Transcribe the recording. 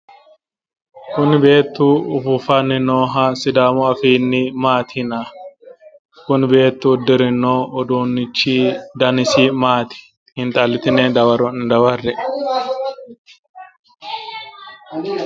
Kuni beettu ufuufanni nooha sidaamu afiinni maati yinanni? Kuni beettu uddirino uduunnichi danisi maati xiinxallitine daworo'ne dawarre"e?